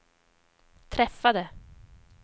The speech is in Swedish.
träffade